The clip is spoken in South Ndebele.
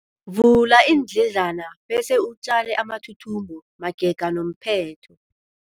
Vula iindledlana bese utjale amathuthumbo magega nomphetho.